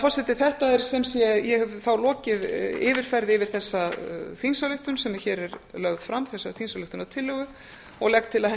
forseti ég hef þá lokið yfirferð yfir þessa þingsályktun sem er hér er lögð fram þessa þingsályktunartillögu og legg til